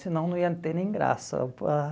Senão não ia ter nem graça. Ah